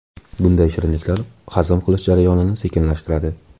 Bunday shirinliklar hazm qilish jarayonini sekinlashtiradi.